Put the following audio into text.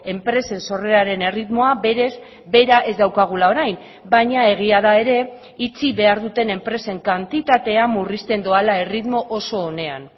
enpresen sorreraren erritmoa berez bera ez daukagula orain baina egia da ere itxi behar duten enpresen kantitatea murrizten doala erritmo oso onean